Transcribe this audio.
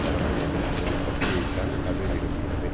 நடந்து கொள்ளும் ஒரு கட்சியைத்தான் அது விரும்புகிறது